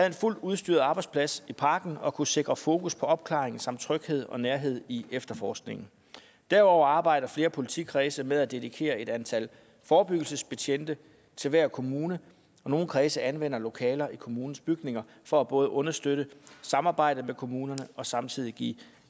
en fuldt udstyret arbejdsplads i parken og kunne sikre fokus på opklaring samt tryghed og nærhed i efterforskningen derudover arbejder flere politikredse med at dedikere et antal forebyggelsesbetjente til hver kommune og nogle kredse anvender lokaler i kommunens bygninger for både at understøtte samarbejdet med kommunerne og samtidig give